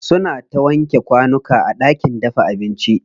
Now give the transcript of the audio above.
Suna ta wanke kwanuka a ɗakin dafa abinci.